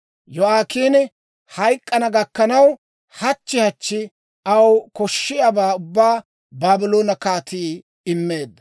Yo'aakiini hayk'k'ana gakkanaw, hachchi hachchi aw koshshiyaabaa ubbaa Baabloone kaatii immeedda.